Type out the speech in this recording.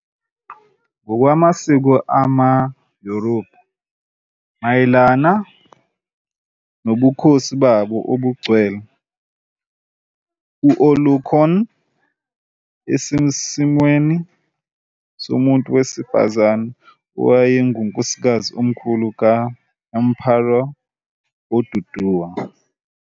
Ngokwamasiko amaYoruba mayelana nobukhosi babo obungcwele, u-Olokun - esesimweni somuntu wesifazane - wayengunkosikazi omkhulu ka-Emperor Oduduwa.